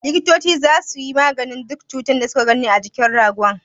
Likitoci zasu yi maganin duk ciwon da su ka gani a jikin ragon.